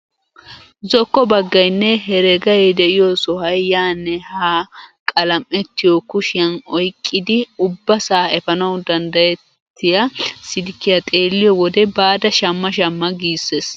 Zokko baggaynne heregay de'iyoo sohuway yaanne haa qalam"ettiyoo kushiyaan oyqqidi ubbaasaa efanaawu danddayetiyaa silkkiyaa xeelliyo wode baada shamma shamma giissees!